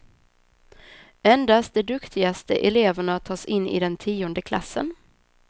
Endast de duktigaste eleverna tas in i den tionde klassen.